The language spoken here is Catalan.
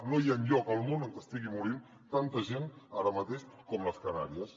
no hi ha enlloc al món on estigui morint tanta gent ara mateix com a les canàries